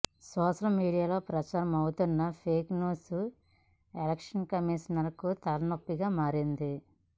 social మీడియాలో ప్రచారం అవుతున్న ఫేక్ న్యూస్ ఎలక్షన్ కమీషన్ కూ తలనొప్పిగా మారింది